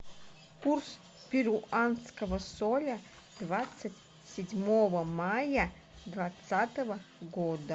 курс перуанского соля двадцать седьмого мая двадцатого года